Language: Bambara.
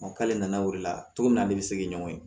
k'ale nana o de la cogo min na ne bɛ segi ɲɔgɔn ye